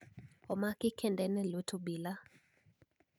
Omaki kend en e lwet obila